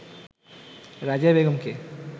রাজিয়া বেগমকে